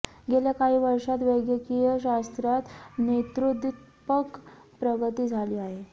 गेल्या काही वर्षांत वैद्यकीय शास्त्रात नेत्रोद्दीपक प्रगती झाली आहे